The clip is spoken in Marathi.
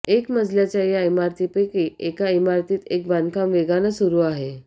एकमजल्याच्या या इमारतींपैकी एका इमारतीत एक बांधकाम वेगानं सुरू आहे